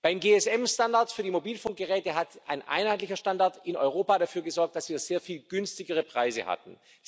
Beim GSM Standard für die Mobilfunkgeräte hat ein einheitlicher Standard in Europa dafür gesorgt, dass wir sehr viel günstigere Preise hatten.